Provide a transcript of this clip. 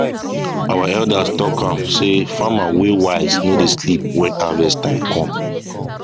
our elders talk am say farmer wey wise no dey sleep when harvest time come